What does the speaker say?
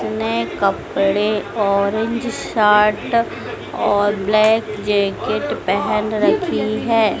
नए कपड़े orange shirt और ब्लैक जैकेट पहन रखी है।